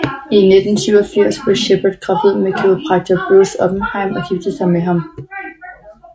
I 1987 blev Sheperd gravid med kiropraktor Bruce Oppenheim og giftede sig med ham